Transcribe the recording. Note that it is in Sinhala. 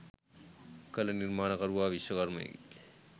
කළ නිර්මාණකරුවා විශ්මකර්මයෙකි